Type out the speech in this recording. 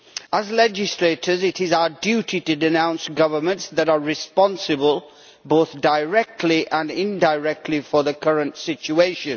As legislators, it is our duty to denounce governments that are responsible, both directly and indirectly, for the current situation.